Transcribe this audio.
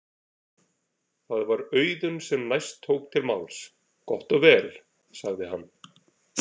Það var Auðunn sem næst tók til máls: Gott og vel, sagði hann.